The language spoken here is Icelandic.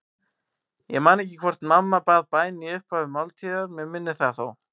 Ég man ekki hvort mamma bað bæn í upphafi máltíðar, mig minnir það þó.